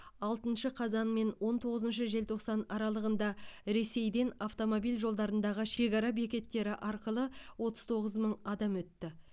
алтыншы қазан мен он тоғызыншы желтоқсан аралығында ресейден автомобиль жолдарындағы шекара бекеттері арқылы отыз тоғыз мың адам өтті